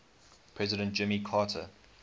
president jimmy carter